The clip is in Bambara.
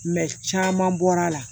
caman bɔra la